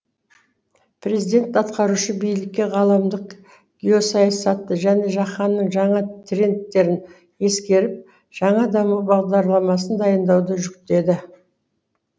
президент атқарушы билікке ғаламдық геосаясатты және жаһанның жаңа трендтерін ескеріп жаңа даму бағдарламасын дайындауды жүктеді